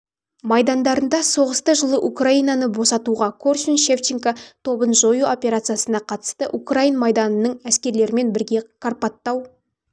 майдандарында соғысты жылы украинаны босатуға корсунь-шевченков тобын жою операциясына қатысты украин майданының әскерлерімен бірге карпаттау